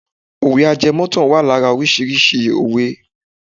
Òwe ajẹmọ́ ìtàn wà lára órísìíríìsí òwe.